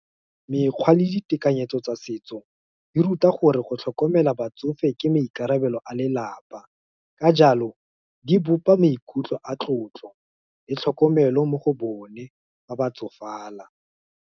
Mekgwa le ditekanyetso tsa setso, di ruta gore go tlhokomela batsofe ke maikarabelo a lelapa, ka jalo, di bopa maikutlo a tlotlo, le tlhokomelo mo go bone, fa ba tsofala.